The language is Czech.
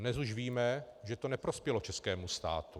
Dnes už víme, že to neprospělo českému státu.